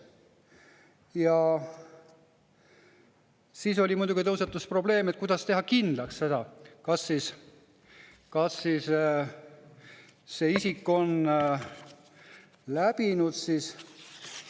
Ja siis muidugi tõusetus probleem, et kuidas teha kindlaks, kas see isik on läbinud.